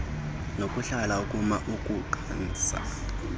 nokuhlala ukuma ukukhasa